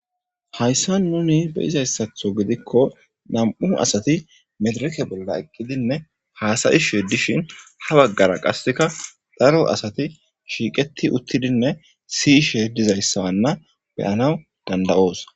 Hayisan nun besizaystho gidiko na'mu sati nadireke bolla eqidinee hasa'ishe dishin ha bagara qaseka daro asati shiqeti utidinee si'ishe dizaysa be'anawu danida'os